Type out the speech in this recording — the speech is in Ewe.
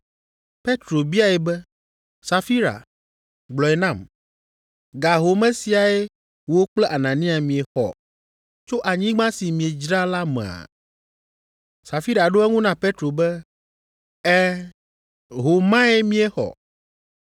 Petro biae be, “Safira, gblɔe nam, ga home siae wò kple Anania miexɔ tso anyigba si miedzra la mea?” Safira ɖo eŋu na Petro be, “Ɛ̃, ho mae míexɔ.”